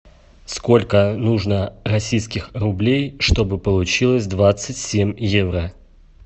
сколько нужно российских рублей чтобы получилось двадцать семь евро